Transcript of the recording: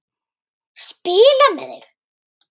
Spila með þig?